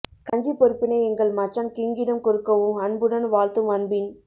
கஞ்சி பொறுப்பினை எங்கள் மச்சான் கிங்கிடம் கொடுக்கஊம் அன்புடன் வாழ்த்தும் அன்பின்